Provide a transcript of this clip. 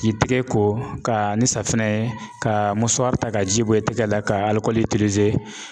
K'i tigɛ ko ka ni safunɛ ye ka ta ka ji bɔ i tigɛ la ka alikɔli